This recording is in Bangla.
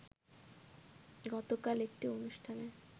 গতকাল একটি অনুষ্ঠানে